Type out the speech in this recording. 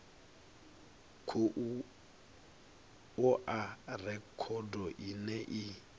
khou oa rekhodo ine i